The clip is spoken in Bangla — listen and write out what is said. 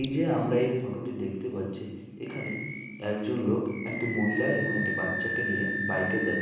এই যে আমরা এই ফটোটি দেখতে পাচ্ছি এখানে একজন লোক একটি মহিলা এবং একটি বাচ্চাকে নিয়ে বাইকে যা--